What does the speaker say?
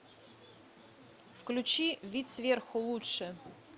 включи вид сверху лучше